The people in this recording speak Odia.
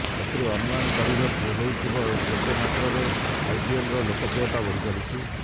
ଏଥିରୁ ଅନୁମାନ କରିହେଉଥିବ କେତେ ମାତ୍ରାରେ ଆଇପିଏଲର ଲୋକପ୍ରିୟତା ବଢିଚାଲିଛି